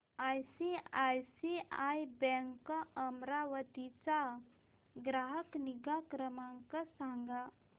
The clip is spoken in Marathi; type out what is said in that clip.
आयसीआयसीआय बँक अमरावती चा ग्राहक निगा क्रमांक सांगा